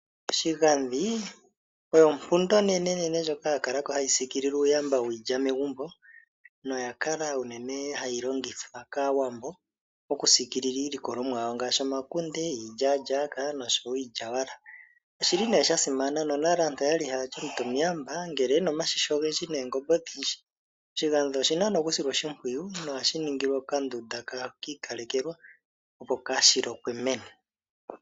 Oshigandhi osho ompunda onene ndjoka ya kalako hayi siikilile uuyamba wiilya megumbo, noya kala unene hayi longithwa kAawambo okusiikilila iilikolomwa yawo ngaashi omakunde, iilyaalyaka, oshowo iilyawala. Oshili nduno sha simana, nomonale aantu oyali haya ti omuntu omuyamba ngele okuna omashisha ogendji noongombe odhindji. Oshigandhi oshina nduno okusilwa oshimpwiyu, na ohashi ningilwa ondunda yawo yi ikalekelwa, opo kaali lokwe meni.